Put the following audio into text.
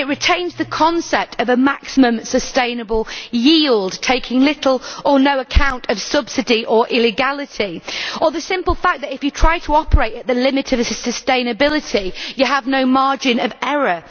it retains the concept of a maximum sustainable yield, taking little or no account of subsidy or illegality or the simple fact that if you try to operate at the limit of its sustainability you have no margin of error.